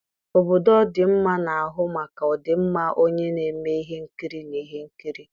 obodo ọdịmma na-ahụ maka ọdịmma onye na-eme ihe nkiri na ihe nkiri.